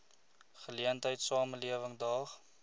geleentheid samelewing daag